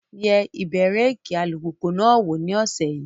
Yẹ ibẹ̀rẹ̀kì alùpùpù náà wò ní ọ̀sẹ̀ yìí.